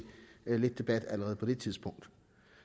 lidt debat allerede på det tidspunkt